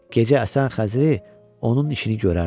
Gecə əsən xəzri onun işini görərdi.